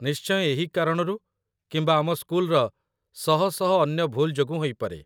ନିଶ୍ଚୟ ଏହି କାରଣରୁ କିମ୍ବା ଆମ ସ୍କୁଲର ଶହ ଶହ ଅନ୍ୟ ଭୁଲ୍ ଯୋଗୁଁ ହୋଇପାରେ।